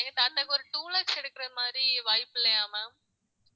எங்க தாத்தாக்கு ஒரு two lakhs எடுக்கிற மாதிரி வாய்ப்பு இல்லையா ma'am